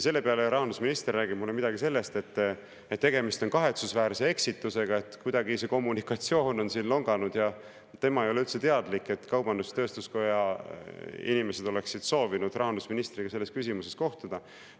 Selle peale rahandusminister rääkis mulle midagi sellist, et tegemist on kahetsusväärse eksitusega, et kuidagi see kommunikatsioon on siin longanud ja tema ei ole üldse teadlik, et kaubandus-tööstuskoja inimesed oleksid soovinud rahandusministriga selles küsimuses kohtuda.